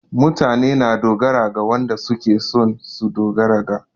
Mutane na dogara ga wanɗa suke son su ɗogara ga.